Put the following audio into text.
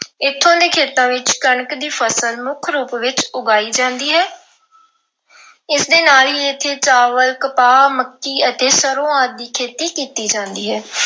ਇੱਥੋਂ ਦੇ ਖੇਤਾਂ ਵਿੱਚ ਕਣਕ ਦੀ ਫਸਲ ਮੁੱਖ ਰੂਪ ਵਿੱਚ ਉਗਾਈ ਜਾਂਦੀ ਹੈ। ਇਸ ਦੇ ਨਾਲ ਹੀ ਇੱਥੇ ਚਾਵਲ, ਕਪਾਹ, ਮੱਕੀ ਅਤੇ ਸਰ੍ਹੋਂ ਆਦਿ ਦੀ ਖੇਤੀ ਕੀਤੀ ਜਾਂਦੀ ਹੈ।